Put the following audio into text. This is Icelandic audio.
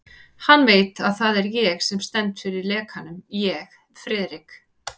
Hann veit, að það er ég sem stend fyrir lekanum ég, Friðrik